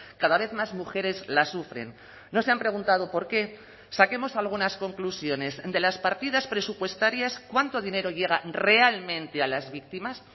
cada vez más mujeres las sufren no se han preguntado por qué saquemos algunas conclusiones de las partidas presupuestarias cuánto dinero llega realmente a las víctimas